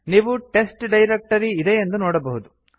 ನೀವು test directory ಇದೆಯೆಂದು ನೋಡಬಹುದು